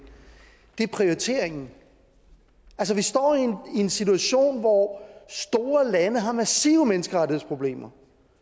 er prioriteringen altså vi står i en situation hvor store lande har massive menneskerettighedsproblemer